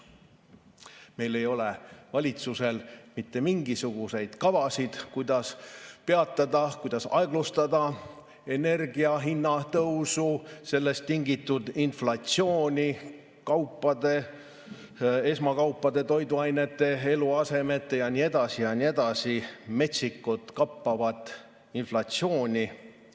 Meil ei ole valitsusel mitte mingisuguseid kavasid, kuidas peatada, kuidas aeglustada energiahinna tõusu, sellest tingitud inflatsiooni, kaupade, esmatarbekaupade, toiduainete, eluasemete jne metsikut kappavat inflatsiooni.